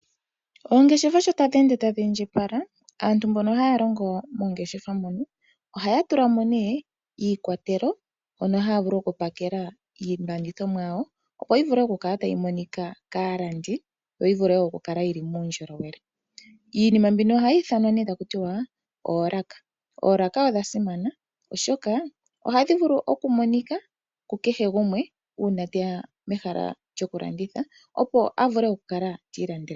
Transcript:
Oongeshefa sho tadhi ende tadhi indjipala aantu mbono haya longo moongeshefa mono ohaya tulamo nee iikwatelo hono haya vulu okupakela iilandithomwa yawo opo yivule oku kala tayi monika kaalandi, yo yivule wo okukala yili muundjolowele. Iinima mbino ohayi ithanwa nee takutiwa oolaaka. Oolaaka odha simana oshoka ohadhi vulu oku monika ku kehe gumwe uuna teya mehala lyomalandithilo, opo avule okwiilandela iinima ye.